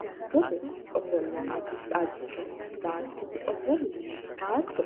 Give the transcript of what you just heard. baattote ofollanna dhagge baattote ofolla baatto